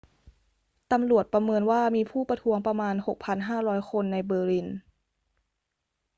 ตำรวจประเมินว่ามีผู้ประท้วงประมาณ 6,500 คนในเบอร์ลิน